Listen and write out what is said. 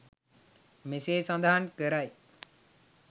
මෙසේ සඳහන් කරයි.